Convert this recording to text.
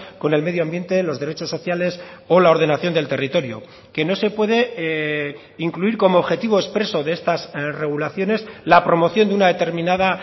con el medio ambiente los derechos sociales o la ordenación del territorio que no se puede incluir como objetivo expreso de estas regulaciones la promoción de una determinada